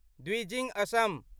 Dwijing Assam